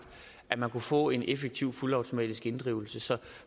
at man kunne få en effektiv fuldautomatisk inddrivelse så